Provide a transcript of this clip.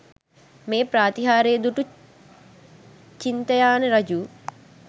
මේ ප්‍රාතිහාර්ය දුටු චින්තයාන රජු